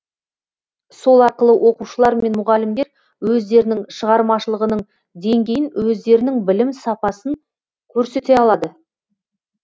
сол арқылы оқушылар мен мұғалімдер өздерінің шығармашылығының деңгейін өздерінің білім сапасын көрсете алады